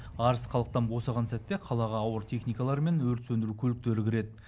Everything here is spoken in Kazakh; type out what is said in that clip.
арыс халықтан босаған сәтте қалаға ауыр техникалар мен өрт сөндіру көліктері кіреді